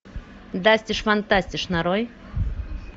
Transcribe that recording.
дастиш фантастиш нарой